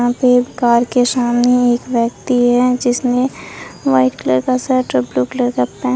यहां पे एक कार के सामने एक व्यक्ति है जिसने व्हाइट कलर का शर्ट और ब्लू कलर का पेंट --